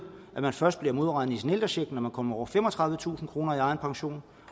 først bliver modregnet i sin ældrecheck når man kommer over femogtredivetusind kroner i egen pension